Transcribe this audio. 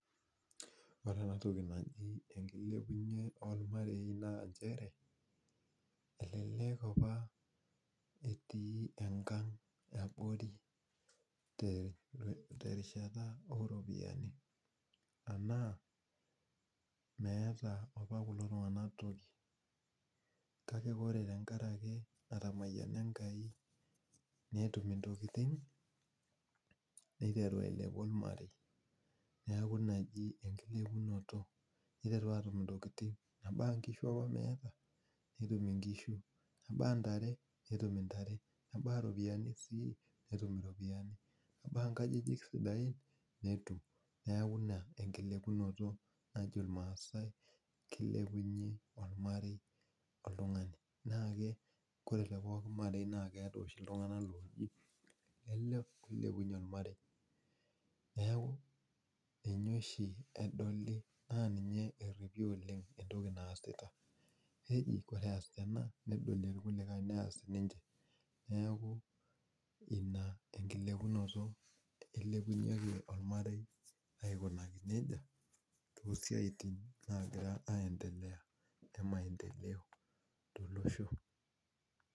Ore enatoki naji enkilepunye ormarei naa njere, elelek apa etii enkang abori terishata oropiyiani. Anaa, meeta apa kulo tung'anak toki. Kake ore tenkaraki etamayiana Enkai netum intokiting, neiteru ailepu ormarei. Neeku ina eji enkilepunoto. Niteru atum intokiting, mebaya nkishu apa meya, netum inkishu. Mebaya ntare, netum intare. Mebaya ropiyiani si, netum iropiyiani. Mebaya nkajijik sidain, netum. Neeku ina kilepilunoto najo irmaasai kilepunye ormarei oltung'ani. Naake ore tepooki marei nakeeta oshi iltung'anak loji ele oilepunye ormarei. Neeku ninye oshi edoli na ninye erripi oleng entoki naasita. Neji ore ees ena nedolie irkulikae nees sinche. Neeku ina enkilepunoto nailepunyeki ormarei aikunaki nejia, tosiaitin nagira aendelea e maendeleo tolosho.